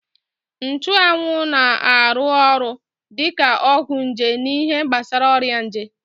Nchanwụ na-arụ ọrụ dị ka ọgwụ nje n'ihe gbasara ọrịa nje